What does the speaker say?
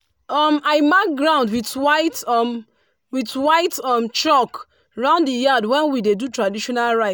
um i mark ground with white um with white um chalk round the yard when we dey do traditional rite.